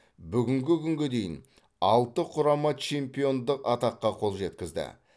бүгінгі күнге дейін алты құрама чемпиондық атаққа қол жеткізді